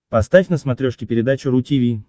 поставь на смотрешке передачу ру ти ви